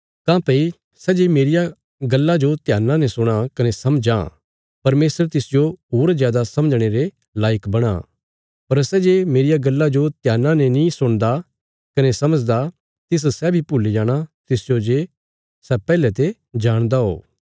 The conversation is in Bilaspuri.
काँह्भई सै जे मेरिया गल्ला जो ध्याना ने सुणा कने समझां परमेशर तिसजो होर जादा समझणे रे लायक बणां पर सै जे मेरिया गल्ला जो ध्याना ने नीं सुणदा कने समझदा तिस सै बी भुल्ली जाणा तिसजो जे सै पैहले ते जाणदा हो